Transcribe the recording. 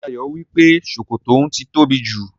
Ṣé Dayọ̀ wípé sókótó oun ti tóbi jù?